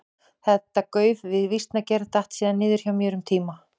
Þetta gauf við vísnagerð datt síðan niður hjá mér um tíma.